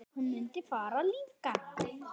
Hún mundi bara rífa hana.